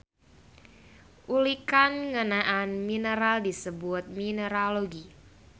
Ulikan ngeunaan mineral disebut mineralogi.